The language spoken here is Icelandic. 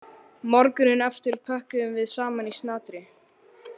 Morguninn eftir pökkuðum við saman í snatri.